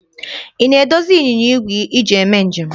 Ị na-edozi ịnyịnya igwe i ji eme njem?